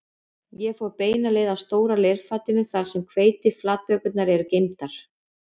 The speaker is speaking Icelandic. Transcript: Ég fer beina leið að stóra leirfatinu þar sem hveitiflatbökurnar eru geymdar